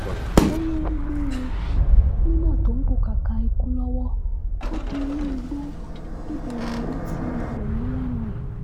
ó lóun gbé e e nígbà tó ń pọkàkà ikú lọ́wọ́ ó di inú igbó ibẹ̀ lòun ti gbẹ̀mí lẹ́nu ẹ̀